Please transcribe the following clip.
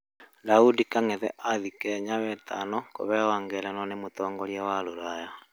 Daũdĩ kang'ethe athĩe Kenya wetano kuheo ngerenwa nĩ mũtongorĩa wa rũraya